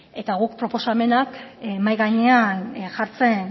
eta guk proposamenak mahai gainean jartzen